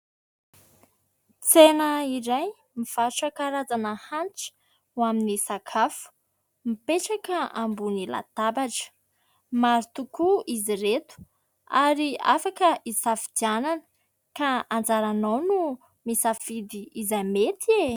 Tsena iray mivarotra karazana hanitra ho amin'ny sakafo mipetraka ambon'ny latabatra. Maro tokoa izy ireto ary afaka hisafidianana ka anjaranao no misafidy izay mety e !